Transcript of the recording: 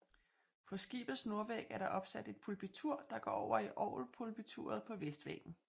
På skibets nordvæg er der opsat et pulpitur der går over i orgelpulpituret på vestvæggen